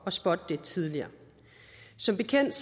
at spotte det tidligere som bekendt